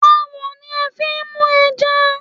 Àwọ̀n ni a fi n mú ẹja